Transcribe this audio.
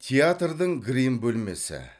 театрдың грим бөлмесі